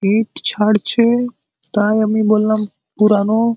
ইট ছাড়ছে তাই আমি বললাম পুরানো ।